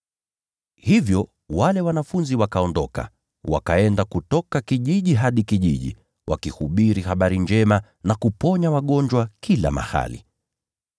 Hivyo wale wanafunzi wakaondoka wakaenda kutoka kijiji hadi kijiji, wakihubiri habari njema na kuponya wagonjwa kila mahali.